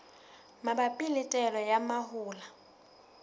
mabapi le taolo ya mahola